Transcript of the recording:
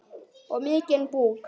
Og mikinn búk.